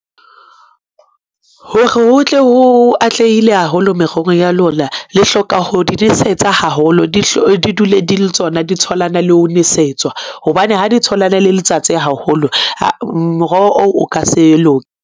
Hore ho tle ho atlehile haholo merohong ya lona, le hloka ho di nosetsa haholo, di dule di le tsona, di tholwana le ho nesetswa hobane ha di tholana le letsatsi haholo. Moroho oo o ka se loke.